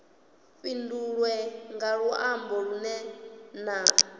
fhindulwe nga luambo lunwe na